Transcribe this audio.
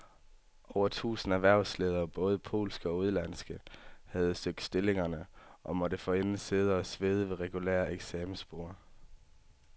Over tusind erhvervsledere, både polske og udenlandske, havde søgt stillingerne og måtte forinden sidde og svede ved regulære eksamensborde.